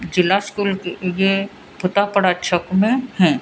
जिला स्कूल की ये है।